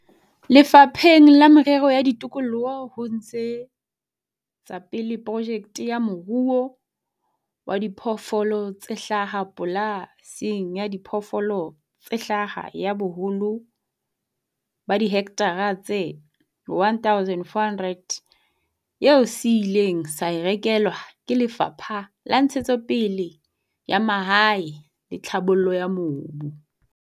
Lefapheng la Merero ya Tikoloho ho ntshe tsapele projeke ya moruo wa diphoofolo tse hlaha pola sing ya diphoofolo tse hlaha ya boholo ba dihekthara tse 1 400, eo se ileng sa e rekelwa ke Lefapha la Ntshetsopele ya Mahae le Tlhabollo ya Mobu.